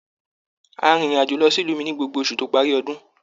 A rìn ìrin àjò lọ sí ìlú mí ní gbogbo oṣù to parí ọdún.